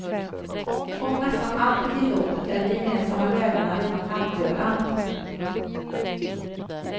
Om nästan allt är tillåtet är de gemensamma värdena redan halvdöda.